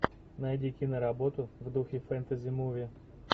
найди киноработу в духе фэнтези муви